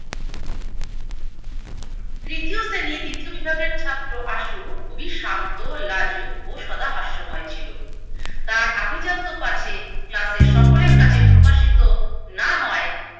তৃতীয় শ্রেণীর দ্বিতীয় বিভাগের ছাত্র আশু খুবই শান্ত, লাজুক ও সদা হাস্যময় ছিলো। তার আভিজাত্য পাছে যাতে সকলের কাছে প্রকাশিত না হয়